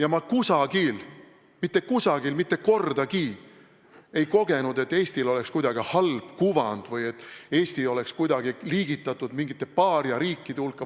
Aga ma kusagil – mitte kusagil ja mitte kordagi – ei kogenud, et Eestil oleks kuidagi halb kuvand või et Eesti oleks kuidagi liigitatud mingite paariariikide hulka.